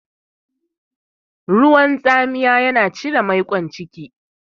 Ruwan tsamiya yana cire maiƙon ciki.